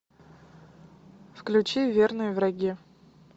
включи верные враги